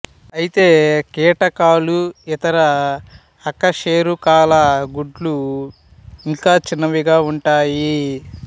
అయితే కీటకాలు ఇతర అకశేరుకాల గుడ్లు ఇంకా చిన్నవిగా ఉంటాయి